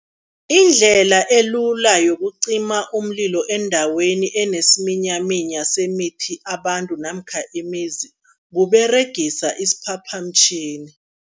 Indlela elula yokucima umlilo endaweni enesiminyaminya semithi, abantu namkha imizi, kUberegisa isiphaphamtjhini.